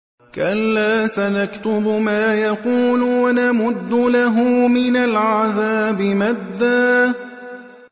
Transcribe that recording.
كَلَّا ۚ سَنَكْتُبُ مَا يَقُولُ وَنَمُدُّ لَهُ مِنَ الْعَذَابِ مَدًّا